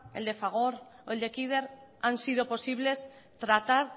el de fagor o el de kider han sido posibles tratar